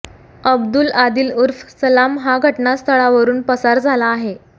अब्दुल आदिल उर्फ़ सलाम हा घटनास्थळावरुन पसार झाला आहे